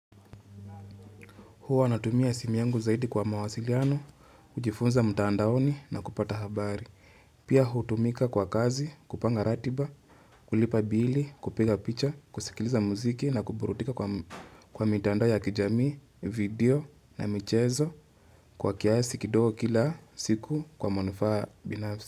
Huwa natumia simu yangu zaidi kwa mawasiliano, kujifunza mtandaoni na kupata habari. Pia hutumika kwa kazi, kupanga ratiba, kulipa bili, kupiga picha, kusikiliza muziki na kuburudika kwa mitandao ya kijamii, video na michezo kwa kiasi kidogo kila siku kwa manufaa binafsi.